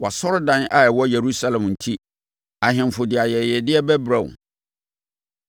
Wʼasɔredan a ɛwɔ Yerusalem enti ahemfo de ayɛyɛdeɛ bɛbrɛ wo.